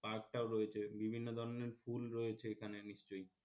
park টাও রয়েছে বিভিন্ন ধরনের ফুল রয়েছে এখানে নিশ্চয়,